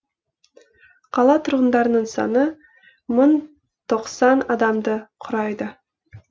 қала тұрғындарының саны мың тоқсан адамды құрайды